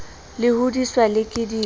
le hodiswa le ke dillo